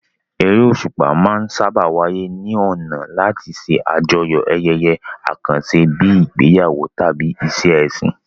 Eré òṣùpá máa ń sáábà wáyé ní ọ̀nà láti ṣe àjọyọ̀ ayẹyẹ àkànṣe bíi ìgbéyàwó tàbí ìṣe ẹ̀sìn.